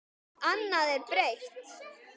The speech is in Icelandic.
Annað er breytt.